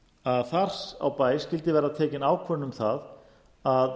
að þar á bæ skyldi verða tekin ákvörðun um að